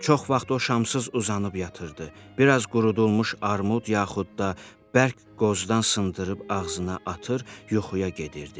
Çox vaxt o şamsız uzanıb yatırdı, biraz qurudulmuş armud yaxud da bərk qozdan sındırıb ağzına atır, yuxuya gedirdi.